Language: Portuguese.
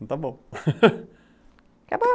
Está bom